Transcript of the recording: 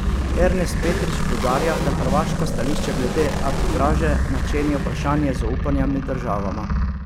Ernest Petrič poudarja, da hrvaško stališče glede arbitraže načenja vprašanje zaupanja med državama.